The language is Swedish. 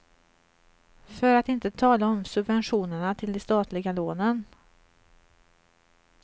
För att inte tala om subventionerna till de statliga lånen.